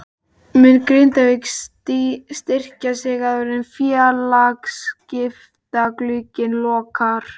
Mun Grindavík styrkja sig áður en félagaskiptaglugginn lokar?